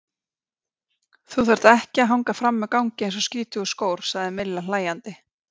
Þú þarft ekki að hanga frammi á gangi eins og skítugur skór, sagði Milla hlæjandi.